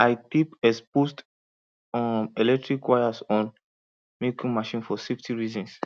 i tape exposed um electrical wires on milking machine for safety reasons